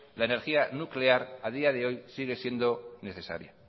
la energía nuclear a día de hoy sigue siendo necesaria